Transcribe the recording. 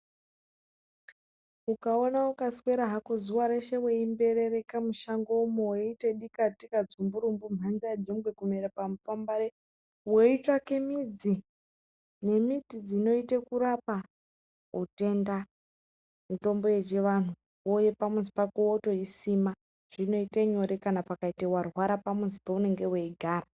Ukaona ukaswera hako zuwa reshe weimberereka mushango umwo weiita dikatika, dzumburumbu mhamba yejongwe kumera pamupambare. Weitsvake midzi nembiti dzinoita kurapa hutenda mitombo yechivantu. Wouya pamuzi pako wotoisima. Zvinoita nyore kana pakaita warwara pamuzi paunenge weigara.